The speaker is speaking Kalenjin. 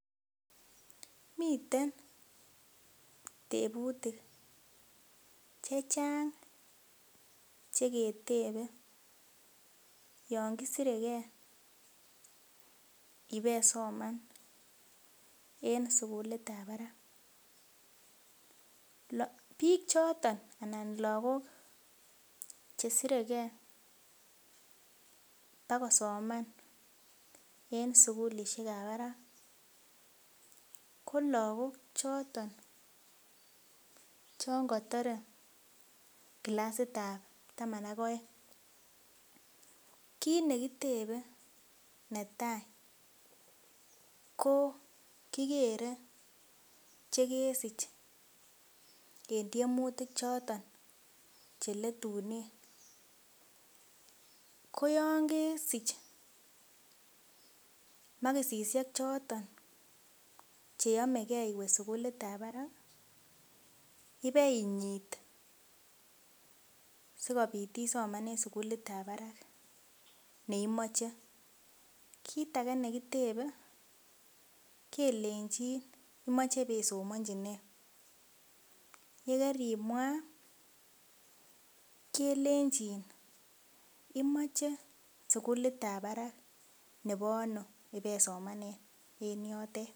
Miten tebutik chechang cheketebe yon kisiregee ibeisoman en sukulit ab barak biik choton anan lakok chesiregee bakosoman en sugulisiek ab barak ko lagok choton chon kotore clasit ab taman ak oeng', kit nekitebe netaa ko kikere chekesich en tyemutik choton cheletunen ko yon kesich maksisiek choton cheyomegee iwe sugulit ab barak ibeinyit sikobit isoman en sugulit ab barak neimoche. Kit age nekitebe ketebenin kelenjin imoche ibeisomonji nee yekerimwaa kelenjin imoche sugulit ab barak nebo ano ibeisomanen en yotet